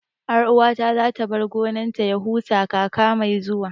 Ƴar uwata za ta bar gonar ta ya huta kaka mai zuwa